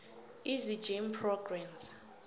easy gym programs